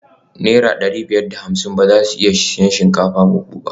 Naira dari biyar da hamsin ba za su iya siyan shinkafa buhu ba